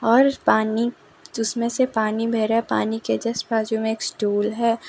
और उस पानी जिसमें से पानी बह रहा है पानी के जस्ट बाजू में एक स्टूल है।